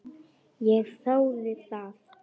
Ég þáði það.